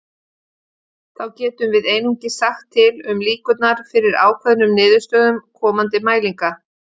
Þá getum við einungis sagt til um líkurnar fyrir ákveðnum niðurstöðum komandi mælinga.